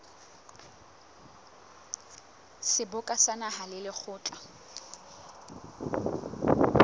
seboka sa naha le lekgotla